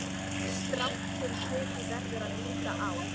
Strangt til tekið verður að líta á??